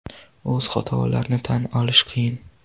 O‘z xatolarni tan olish qiyin.